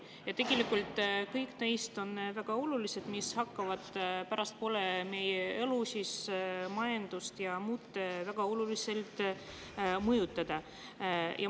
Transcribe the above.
Ja tegelikult kõik neist on väga olulised, need hakkavad pärastpoole meie elu, majandust ja muud väga palju mõjutama.